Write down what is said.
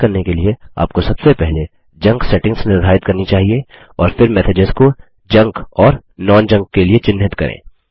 यह करने के लिए आपको सबसे पहले जंक सेटिंग्स निर्धारित करनी चाहिए और फिर मैसेजेस को जंक जंक और non जंक गैर जंक के लिए चिह्नित करें